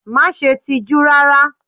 Má ṣe tijú rárá!